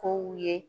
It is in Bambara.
Kow ye